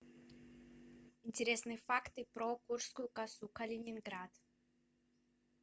интересные факты про куршскую косу калининград